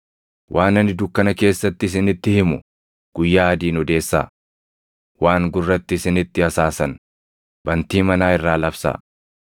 Waan ani dukkana keessatti isinitti himu guyyaa adiin odeessaa; waan gurratti isinitti hasaasan, bantii manaa irraa labsaa.